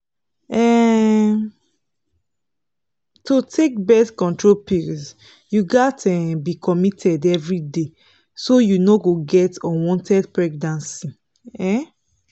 um to take birth control pills you gatz um be committed every day so you no go get unwanted pregnancy um